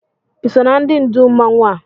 Iso na ndị ndụù mmanwụ a?